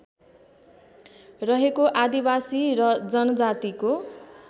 रहेको आदिवासी र जनजातिको